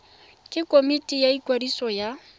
ke komiti ya ikwadiso ya